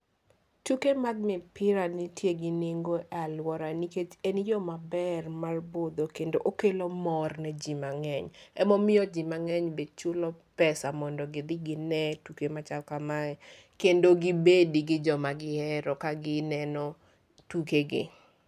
Tuke mag mipira nitie gi nengo e aluora nikech en yo maber mar budho kendo okelo mor ne ji mang'eny. Emomiyo ji mang'eny be chulo pesa mondo gidhi gine tuke machal kamae. Kendo gibed gi jo magihero ka gineno tuke gi.